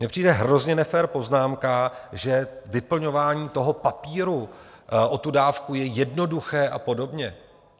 Mně přijde hrozně nefér poznámka, že vyplňování toho papíru o tu dávku je jednoduché a podobně.